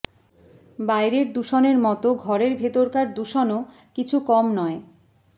বাইরের দূষণের মতো ঘরের ভেতরকার দূষণও কিছু কম নয়